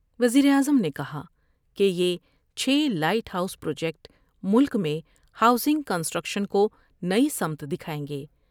وزیراعظم نے کہا کہ یہ چھ لائٹ ہاؤس پروجیکٹ ملک میں ہاؤسنگ کنسٹریکشن کو نئی سمت دکھائیں گے ۔